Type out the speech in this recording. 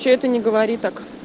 что это не говори так